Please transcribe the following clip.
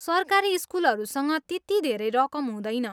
सरकारी स्कुलहरूसँग त्यति धेरै रकम हुँदैन।